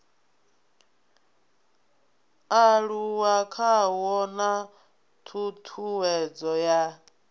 aluwa khawo na ṱhuṱhuwedzo ya